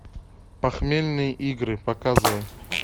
похмельные игры показывай